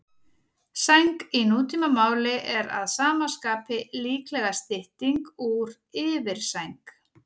Sæng í nútímamáli er að sama skapi líklega stytting úr yfirsæng.